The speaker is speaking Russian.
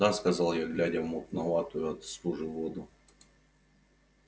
да сказал я глядя в мутноватую от стужи воду